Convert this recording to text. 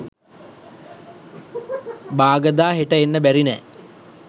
"බාගදා හෙට එන්න බැරි නෑ"